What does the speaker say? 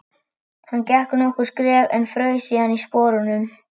Hann gekk nokkur skref en fraus síðan í sporunum.